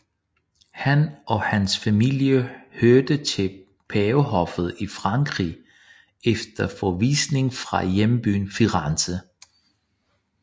Han og hans familie hørte til pavehoffet i Frankrig efter forvisningen fra hjembyen Firenze